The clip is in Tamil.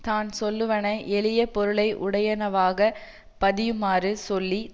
தான் சொல்லுவன எளிய பொருளையுடையனவாக பதியுமாறு சொல்லி